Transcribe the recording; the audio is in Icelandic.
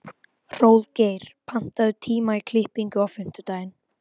Hróðgeir, pantaðu tíma í klippingu á fimmtudaginn.